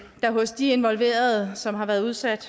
der hos de involverede som har været udsat